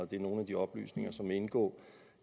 det er nogle af de oplysninger som vil indgå